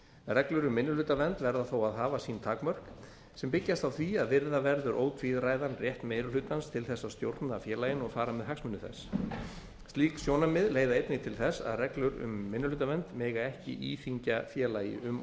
reglur um minnihlutavernd verða þó að hafa sín takmörk sem byggjast á því að virða verður ótvíræðan rétt meiri hlutans til þess að stjórna félaginu og fara með hagsmuni þess slík sjónarmið leiða einnig til þess að reglur um minnihlutavernd mega ekki íþyngja félagi um